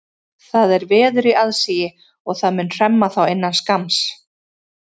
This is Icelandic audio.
Það er veður í aðsigi og það mun hremma þá innan skamms.